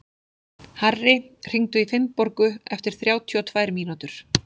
Harri, hringdu í Finnborgu eftir þrjátíu og tvær mínútur.